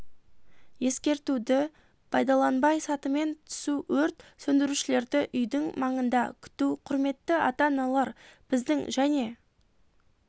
ескертуді пайдаланбай сатымен түсу өрт сөндірушілерді үйдің маңында күту құрметті ата аналар біздің және